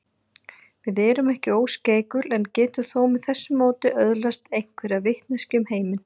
Við erum ekki óskeikul en getum þó með þessu móti öðlast einhverja vitneskju um heiminn.